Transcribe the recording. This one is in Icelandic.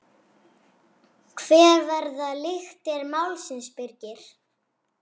Hver verða lyktir málsins Birgir?